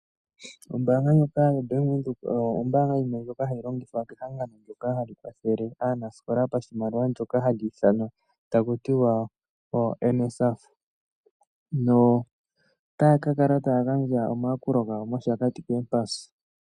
Ombanga ndjoka yoBank Windhoek oyo ombaanga ndjoka hayilongithwa kehangano ndoka hali kwathele aanasikola pashimaliwa ndoka hali ithanwa takutiwa NSFAF na otaya kakala taya gandja omayakulo gawo poshipotudhilo shopombanda shashakati.